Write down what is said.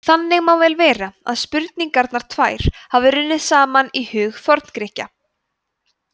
þannig má vel vera að spurningarnar tvær hafi runnið saman í huga forngrikkja